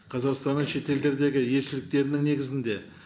қазақстанның шетелдердегі елшіліктерінің негізінде